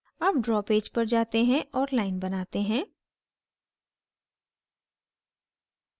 अब draw page पर जाते हैं और line बनाते हैं